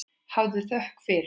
Hafðu þökk fyrir.